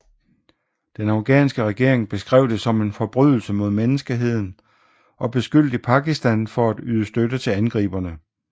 Den afghanske regering beskrev det som en forbrydelse mod menneskeheden og beskyldte Pakistan for at yde støtte til angriberne